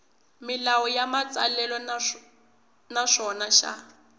milawu ya matsalelo naswona xa